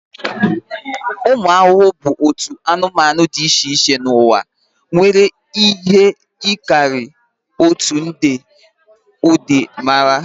Ụmụ ahụhụ bụ otu anụmanụ dị iche iche n'ụwa, nwere ihe karịrị otu nde ụdị mara.